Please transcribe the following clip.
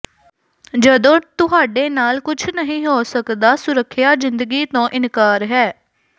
ਜਦੋਂ ਤੁਹਾਡੇ ਨਾਲ ਕੁਝ ਨਹੀਂ ਹੋ ਸਕਦਾ ਸੁਰੱਖਿਆ ਜ਼ਿੰਦਗੀ ਤੋਂ ਇਨਕਾਰ ਹੈ